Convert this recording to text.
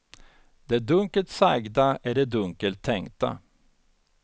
Det dunkelt sagda är det dunkelt tänkta.